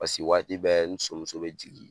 Paseke waati bɛ ni somuso bɛ jigin,